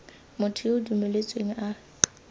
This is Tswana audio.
motho yo o dumeletsweng a